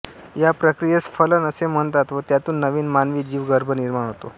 या प्रक्रियेस फलन असे म्हणतात व त्यातून नवीन मानवी जीव गर्भ निर्माण होतो